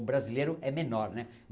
O brasileiro é menor né.